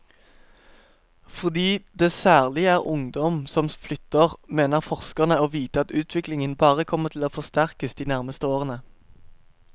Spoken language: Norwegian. Fordi det særlig er ungdom som flytter, mener forskerne å vite at utviklingen bare kommer til å forsterkes de nærmeste årene.